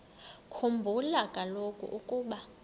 khumbula kaloku ukuba